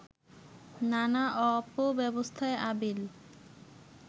নানা অপব্যবস্থায় আবিল